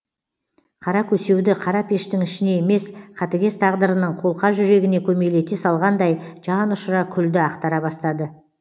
қара көсеуді қара пештің ішіне емес қатыгез тағдырының қолқа жүрегіне көмейлете салғандай жан ұшыра күлді ақтара бастады